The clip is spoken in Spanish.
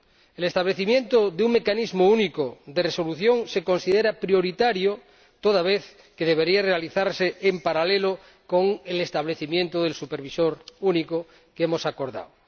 El establecimiento de un Mecanismo Único de Resolución se considera prioritario toda vez que debería realizarse en paralelo con el establecimiento del supervisor único que hemos acordado.